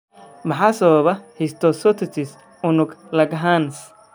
Maxaa sababa histiocytosis unug Langerhans?